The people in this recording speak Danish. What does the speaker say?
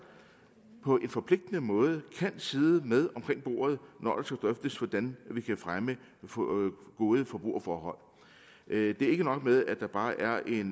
på en forpligtende måde kan sidde med omkring bordet når drøftes hvordan vi kan fremme gode forbrugerforhold det er ikke nok at der bare er